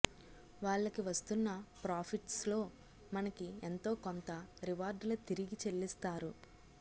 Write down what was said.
వాళ్ళకి వస్తున్న ప్రాఫిట్స్ లో మనకి ఎంతోకొంత రివార్డ్ ల తిరిగి చెల్లిస్తారు